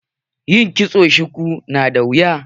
Yin kitson shuku yana da wuya.